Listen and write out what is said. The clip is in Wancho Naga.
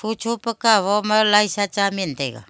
chupakawo ma laisa cha meen taga.